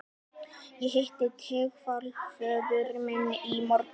Ég hitti tengdaföður minn í morgun